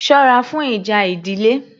Sọ́ra fún ìjà ìdílé